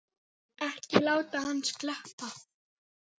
Ekki láta hann sleppa!